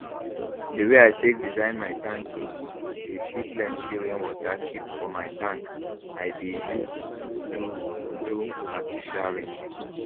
the way i take design my tanki dey see plenty rainwater keep for my tank i dey use do do artificial rain